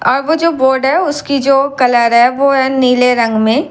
अब जो बोर्ड है उसकी जो कलर है वो है नीले रंग में।